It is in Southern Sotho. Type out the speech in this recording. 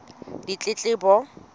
ditletlebo